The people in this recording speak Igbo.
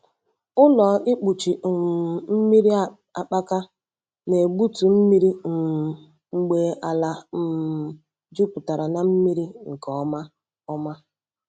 Ụlọ ịkpụchi um mmiri akpaka na-egbutu mmiri um mgbe ala um jupụtara na mmiri nke ọma. ọma.